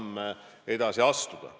Minu meelest on vaja need sammud astuda.